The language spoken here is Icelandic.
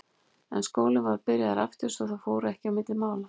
En skólinn var byrjaður aftur svo að það fór ekki á milli mála.